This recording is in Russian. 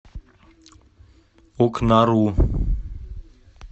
окнару